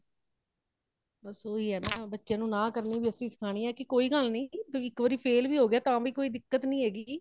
ਬੱਸ ਓਹੀ ਹੈ ਨਾ , ਬੱਚਿਆਂ ਨੂੰ ਨਾ ਕਰਨੀ ਵੀ ਅਸੀਂ ਸਿਖਾਣੀ ਹੈ , ਕੀ ਕੋਈ ਗੱਲ ਨਹੀਂ ,ਇਕ ਵਾਰੀ fail ਵੀ ਹੋਗਿਆ ਤਾ ਵੀ ਕੋਈ ਦਿਕੱਤ ਨਹੀਂ ਹੇਗੀ